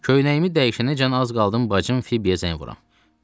Köynəyimi dəyişənəcən az qaldım bacım Fibiyə zəng vuram.